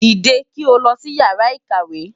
Dìde kí o lọ sí Ìyàrá-ìkàwé!